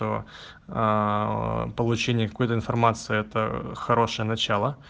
получение какую-то информацию это хорошее начало